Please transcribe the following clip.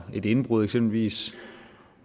et indbrud eksempelvis